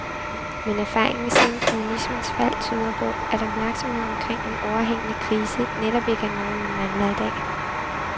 Men erfaringen siden kommunismens fald tyder på, at opmærksomhed omkring en overhængende krise netop ikke er noget, man mangler i dag.